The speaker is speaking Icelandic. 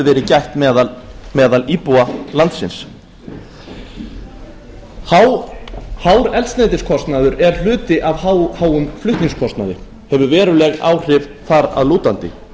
verið gætt meðal íbúa landsins hár eldsneytiskostnaður er hluti af of háum flutningskostnaði og hefur veruleg áhrif þar að lútandi